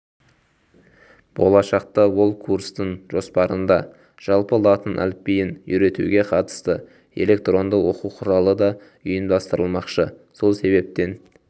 болашақта ол курстың жоспарында жалпы латын әліпбиін үйретуге қатысты электронды оқу құралы да ұйымдастырылмақшы сол себептен